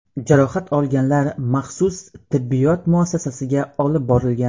Jarohat olganlar maxsus tibbiyot muassasasiga olib borilgan.